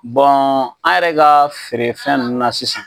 Bɔn an yɛrɛ ka feerefɛn nunnu na sisan